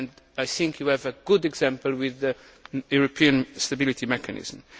I think you have a good example with the European Stability Mechanism.